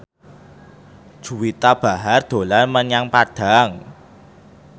Juwita Bahar dolan menyang Padang